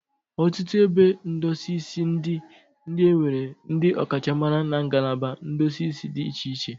Ọtụtụ ebe ndosi isi ndị a nwere ndị ọkachamara na nagalaba ndosi isi dị iche iche.